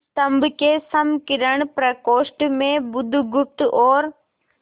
स्तंभ के संकीर्ण प्रकोष्ठ में बुधगुप्त और